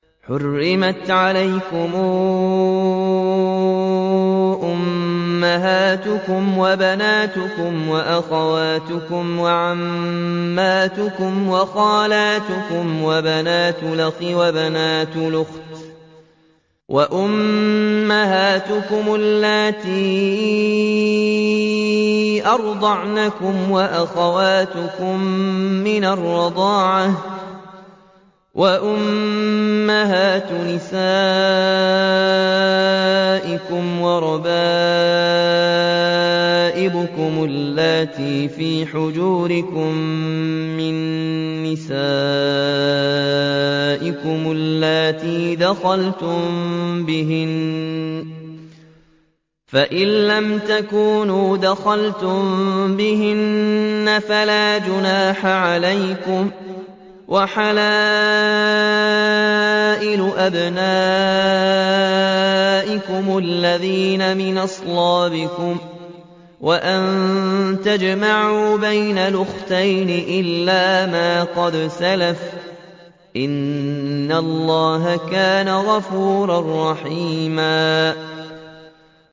حُرِّمَتْ عَلَيْكُمْ أُمَّهَاتُكُمْ وَبَنَاتُكُمْ وَأَخَوَاتُكُمْ وَعَمَّاتُكُمْ وَخَالَاتُكُمْ وَبَنَاتُ الْأَخِ وَبَنَاتُ الْأُخْتِ وَأُمَّهَاتُكُمُ اللَّاتِي أَرْضَعْنَكُمْ وَأَخَوَاتُكُم مِّنَ الرَّضَاعَةِ وَأُمَّهَاتُ نِسَائِكُمْ وَرَبَائِبُكُمُ اللَّاتِي فِي حُجُورِكُم مِّن نِّسَائِكُمُ اللَّاتِي دَخَلْتُم بِهِنَّ فَإِن لَّمْ تَكُونُوا دَخَلْتُم بِهِنَّ فَلَا جُنَاحَ عَلَيْكُمْ وَحَلَائِلُ أَبْنَائِكُمُ الَّذِينَ مِنْ أَصْلَابِكُمْ وَأَن تَجْمَعُوا بَيْنَ الْأُخْتَيْنِ إِلَّا مَا قَدْ سَلَفَ ۗ إِنَّ اللَّهَ كَانَ غَفُورًا رَّحِيمًا